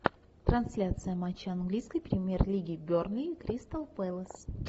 трансляция матча английской премьер лиги бернли кристал пэлас